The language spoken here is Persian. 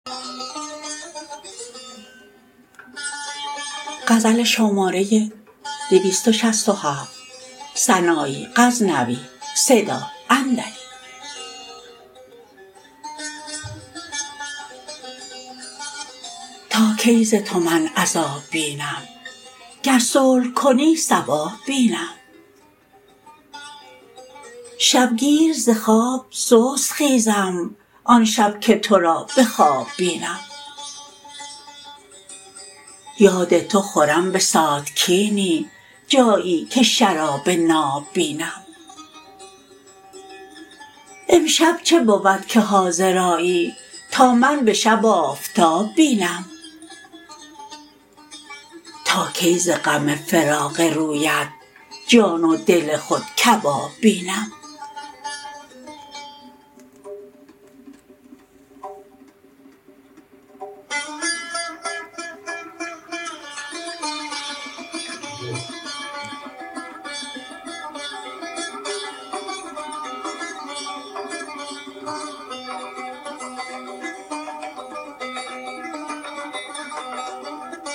تا کی ز تو من عذاب بینم گر صلح کنی صواب بینم شبگیر ز خواب سست خیزم آن شب که ترا به خواب بینم یاد تو خورم به ساتکینی جایی که شراب ناب بینم امشب چه بود که حاضر آیی تا من به شب آفتاب بینم تا کی ز غم فراق رویت جان و دل خود کباب بینم